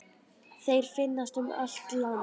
Þeir finnast um allt land.